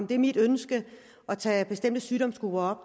det er mit ønske at tage bestemte sygdomsgrupper